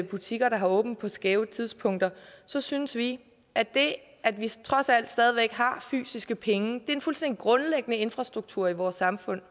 butikker der har åbent på skæve tidspunkter så synes vi at det at vi trods alt stadig væk har fysiske penge er en fuldstændig grundlæggende infrastrukturen i vores samfund